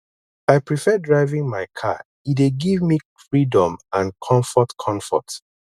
i prefer driving my car e dey give me freedom and comfort comfort